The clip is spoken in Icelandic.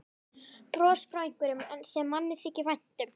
Bros frá einhverjum sem manni þykir vænt um.